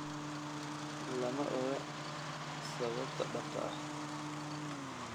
Lama oga sababta dhabta ah.